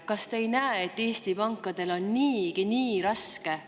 Kas te ei näe, et Eesti pankadel on niigi nii raske?